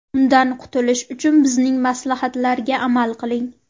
Undan qutilish uchun bizning maslahatlarga amal qiling.